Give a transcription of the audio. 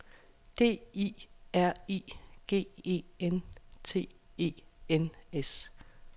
D I R I G E N T E N S